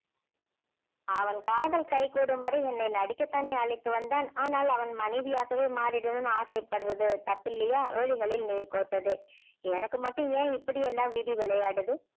அவன் காதல் கைகூடும் வரை என்னை நடிக்க தானே அழைத்து வந்தான் ஆனால் அவன் மனைவியாகவே மாறிடணும்னு ஆசைப்படுறது தப்பில்லையா விழிகளில் நீர் கோர்த்தது எனக்கு மட்டும் ஏன் இப்படி எல்லாம் விதி விளையாடுது